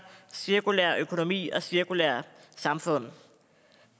cirkulær økonomi og cirkulære samfund